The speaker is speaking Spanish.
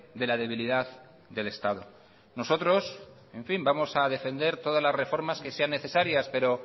de la debilidad del estado nosotros en fin vamos a defender todas las reformas que sean necesarias pero